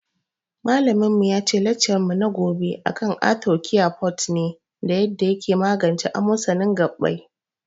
Malamin mu yace laccar mu na gobe akan arthocare forte ne da yarda yake magance amosanin gabbai